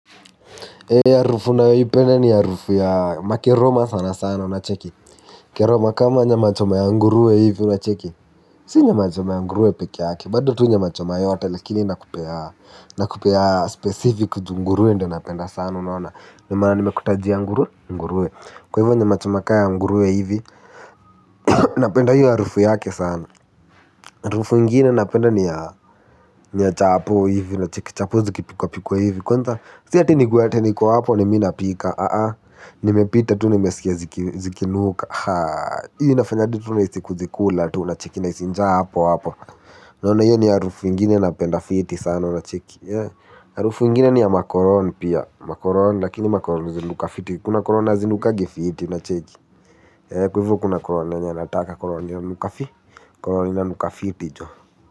Ee harufu nayoipenda ni ya harufu ya, makeroma sana sana, unacheki? Keroma kama nyama choma ya nguruwe hivi, unacheki? Si nyma choma ya nguruwe peke yake, bado tu nyama choma yote lakini nakupea, nakupea specific juu nguruwe ndio napenda sana, unaona? Nyama nimekutajia ya nguru nguruwe. Kwa hivyo nyama choma ka ya nguruwe hivi. Napenda hiyo harufu yake sana. Harufu ingine napenda ni ya, ni ya chapo hivi, unacheki? Chapo zikipikwa pikwa hivi, kwanza si ati ni nikuwe ati niko hapo ni mi napika nimepita tu nimeskia zikinuka, hiyo inafanya hadi tu nihisi kuzikula tu unacheki nahisi tu njaa hapo hapo, unaona hiyo ni harufu ingine napenda fiti sana, unacheki? Harufu ingine ni ya macologne pia, macologne lakini macologne zinanuka fiti, kuna cologne hazinukangi fiti, unacheki? Kwa hivo kuna cologne yenye nataka, cologne inanuka fi, cologne inakuka fiti joh.